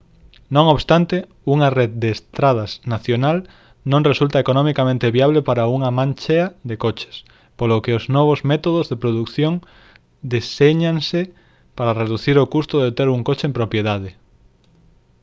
non obstante unha rede de estradas nacional non resulta economicamente viable para unha manchea de coches polo que os novos métodos de produción deséñanse para reducir o custo de ter un coche en propiedade